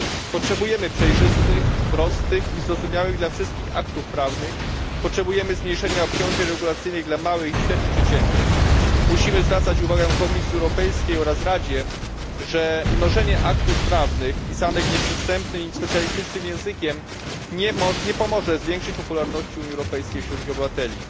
Potrzebujemy przejrzystych, prostych i zrozumiałych dla wszystkich aktów prawnych oraz zmniejszenia obciążeń regulacyjnych dla małych i średnich przedsiębiorstw. Musimy zwracać uwagę Komisji Europejskiej oraz Radzie, że mnożenie aktów prawnych pisanych nieprzystępnym i specjalistycznym językiem nie pomoże zwiększyć popularności Unii Europejskiej wśród jej obywateli.